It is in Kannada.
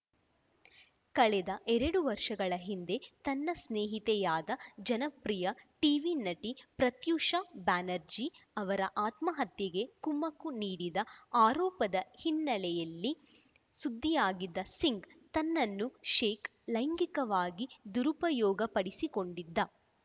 ಕಳೆದ ಎರಡು ವರ್ಷಗಳ ಹಿಂದೆ ತನ್ನ ಸ್ನೇಹಿತೆಯಾದ ಜನಪ್ರಿಯ ಟೀವಿ ನಟಿ ಪ್ರತ್ಯೂಷಾ ಬ್ಯಾನರ್ಜಿ ಅವರ ಆತ್ಮಹತ್ಯೆಗೆ ಕುಮ್ಮಕ್ಕು ನೀಡಿದ ಆರೋಪದ ಹಿನ್ನೆಲೆಯಲ್ಲಿ ಸುದ್ದಿಯಾಗಿದ್ದ ಸಿಂಗ್‌ ತನ್ನನ್ನು ಶೇಖ್‌ ಲೈಂಗಿಕವಾಗಿ ದುರುಪಯೋಗಪಡಿಸಿಕೊಂಡಿದ್ದ